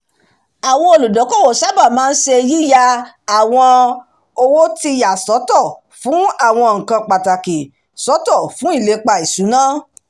àwọn olúdókòwò sáábà màa ń ṣe yìya àwọn owó ti yà sọ́tọ̀ fún àwọn nǹkan pàtàkì sọ́tọ̀ fun ìlepa ìṣúná